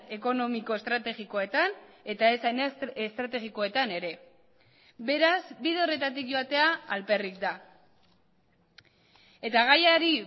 ekonomiko estrategikoetan eta ez estrategikoetan ere beraz bide horretatik joatea alperrik da eta gaiari